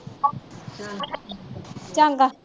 ਚੰਗਾ।